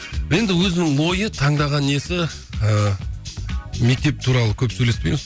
енді өзінің ойы таңдаған несі ыыы мектеп туралы көп сөйлеспейміз